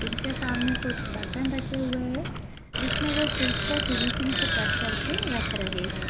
इनके सामने कुछ बर्तन रखे हुए है जिसमे वो फिश को फिनिशिंग से कट करके रख रहे हैं ।